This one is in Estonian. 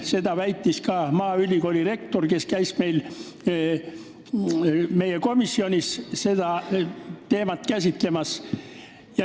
Seda väitis ka maaülikooli rektor, kes käis meie komisjonis seda teemat käsitlemas.